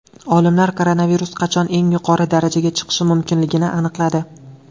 Olimlar koronavirus qachon eng yuqori darajaga chiqishi mumkinligini aniqladi.